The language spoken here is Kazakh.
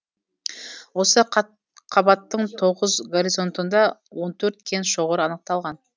осы қатқабаттың тоғыз горизонтында он төрт кен шоғыры анықталған